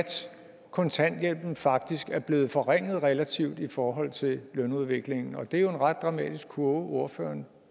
kontanthjælpen faktisk er blevet forringet relativt i forhold til lønudviklingen og det er jo en ret dramatisk kurve ordføreren